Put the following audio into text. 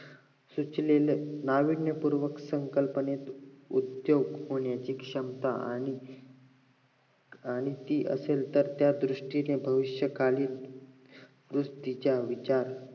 सुचलेल्या नाविन्यपूर्वक संकल्पनेत उद्दोग होण्याचे क्षमता आणि आणि ती असेल तर त्या दृष्टीने भविष्य कालीन गोष्टीचा विचार